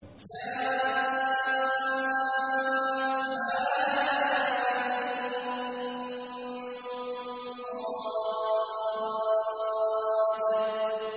كهيعص